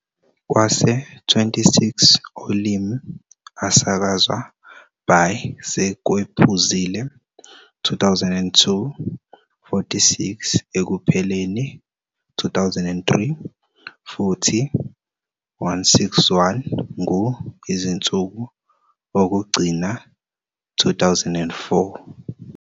Kwase 26 olimi asakazwa by sekwephuzile 2002, 46 ekupheleni 2003, futhi 161 ngu izinsuku okugcina 2004.